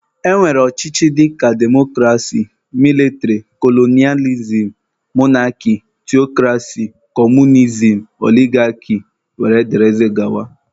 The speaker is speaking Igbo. E nwere ọchịchị dịka demokrasi, mịlịtịrị, kolonịalizim, monarki, theokrasi, kọmunizim, oligaki wdg